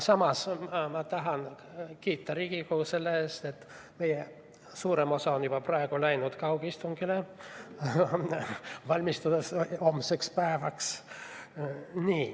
Samas ma tahan kiita Riigikogu selle eest, et suurem osa meist on juba praegu läinud üle kaugistungile, valmistudes homseks päevaks.